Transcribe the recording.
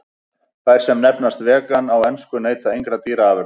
Þær sem nefnast vegan á ensku neyta engra dýraafurða.